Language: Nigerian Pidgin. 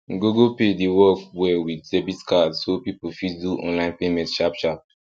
google pay dey work well with debit card so people fit do online payment sharp sharp